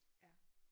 Ja